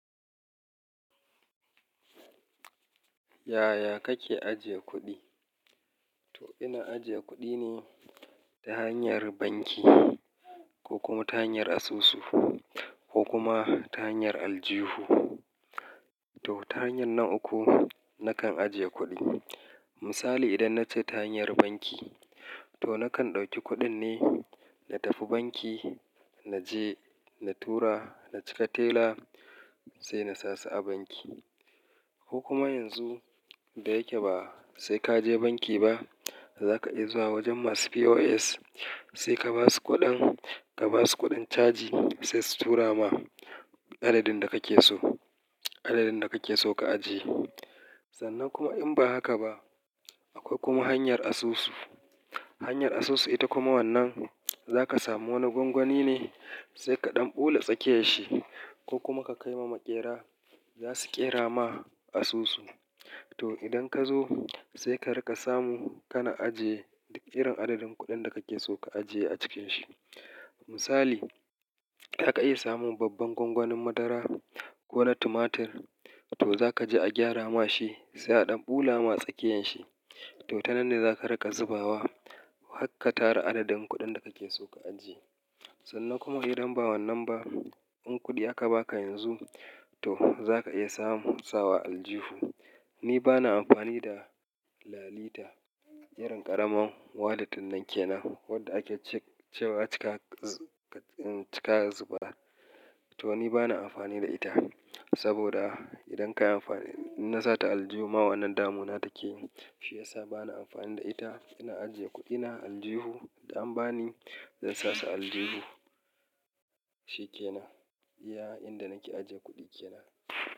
Yaya kake ajiye kuɗi? To ina ajiye kuɗi ne ta hanyar banki ko kuma ta hanyar asusu ko kuma ta hanyar aljihu. To ta hanyar nan uku nakan ajiye kuɗi. Misali idan nace ta hanyar banki to nakan ɗauki kuɗin ne na tafi banki naje na tura na cika tela sai na sasu a banki ko kuma yanzu da yake ba sai kaje banki ba zaka iya zuwa wajen masu POS sai ka basu kuɗin ka basu kuɗin caji sai su tura ma adadin da kake so adadin da kake so ka ajiye. Sannan kuma in ba haka ba akwai kuma hanyar asusu hanyar asusu ita kuma wannan zaka samu wani gwangwani ne sai kaɗan ɓula tsakiyanshi ko kuma ka kai ma maƙera za su ƙera ma asusu to idan kazo sai ka raka samu kana ajiye da ƙarin adadin kuɗin da kake so ka ajiye a cikin shi. Misali zaka iya samun babban gwangwanin madara ko na tumatir to zaka je a gyara ma shi sai a ɗan ɓula ma tsakiyanshi to ta nan ne zaka raka zubawa hakka tara adadin kuɗin da kake so ka ajiye. Sannan kuma idan ba wannan ba in kuɗi aka baka yanzu to zaka iya samu sawa aljihu. Ni bana amfani da lalita irin ƙaraman wallet ɗinnan ke nan wadda ake cewa cika zubawa to ni bana amfani da ita saboda idan kayi amfani idan na sata aljihu ma wannan damuna take shi yasa bana amfani da ita ina ajiye kuɗina aljihu da an bani zan sasu a aljihu shi ke nan iya inda nake ajiye kuɗi kenan.